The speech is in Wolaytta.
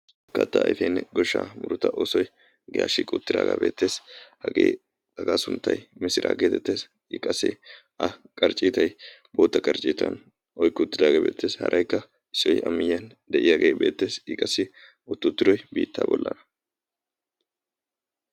kaattaa ayfenne goshshaa murota oosoi iyaashshi quttidaagaa beettees hagee hagaa sunttai misiraa geetettees i qassi a qarcciitay bootta qarcci ciitan kuuttidaagee beetteesi haraykka issoy a miyyiyan de7iyaagee beettees i qassi ottuutturoi biittaa bollhana